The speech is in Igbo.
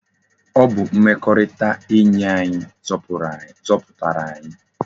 Ọ bụ mmekọrịta enyi anyi zọpụtara anyi.